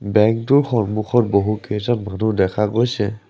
বেংকটোৰ সন্মুখত বহুতকেইজন মানুহ দেখা গৈছে।